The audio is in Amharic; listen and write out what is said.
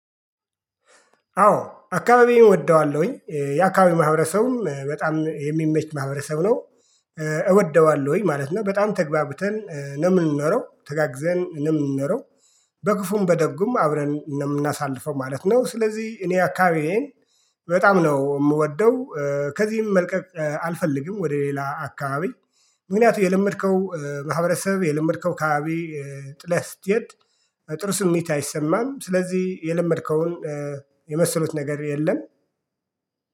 አዎ አካባቢውን እወደዋለሁኝ የአካባቢ ማህበረሰቡም በጣም የሚመች ማህበረሰብ ነው እወደዋለሁኝ ማለት ነው በጣም ተግባብተን ነው የምንኖረው ተጋግዘን ነው የምንኖረው። በክፉም በደጉም አብረን ነው እምናሳልፈው ማለት ነው። ስለዚህ እኔ አካባቢዬን በጣም ነው የምወደው። ከዚህም መልቀቅ አልፈልግም ወደ ሌላ አካባቢ ምክንያቱ የለመድከው ማህበረሰብ የለመድከው ከባቢ። ጥለህ ስትሄድ በጥሩ ስሜት አይሰማም ስለዚህ የለመድከውን። የመሰሉት ነገር የለም